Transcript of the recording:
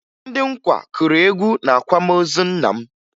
Ndị nkwa kụrụ egwu n'akwamozi nna m